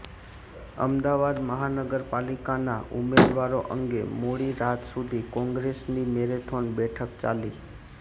અમદાવાદ મહાનગરપાલિકાના ઉમેદવારો અંગે મોડી રાત સુધી કોંગ્રેસની મેરેથોન બેઠક ચાલી